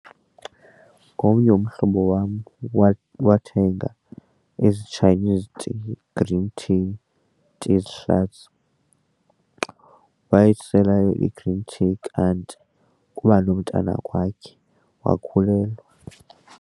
Ngomnye umhlobo wam wathenga ezi Chinese tea green tea wayisela i-green tea kant kuba nomntana kwakhe wakhulelwa.